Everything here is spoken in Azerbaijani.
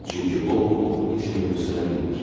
Çünki o bu oxu heç kimə göstərə bilmir.